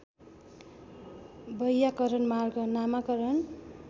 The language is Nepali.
वैयाकरण मार्ग नामाकरण